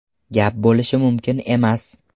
Gap bo‘lishi mumkin emas.